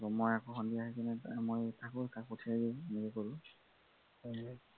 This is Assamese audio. মই আকৌ সন্ধিয়া আহি পিনি মই থাকোঁ তাক পঠিয়াই দিওঁ